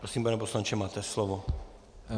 Prosím, pane poslanče, máte slovo.